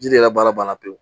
Ji de ka baara banna pewu